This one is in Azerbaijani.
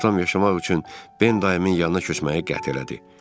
Atam yaşamaq üçün Ben dayımın yanına köçməyi qət elədi.